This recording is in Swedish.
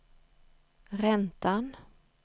räntan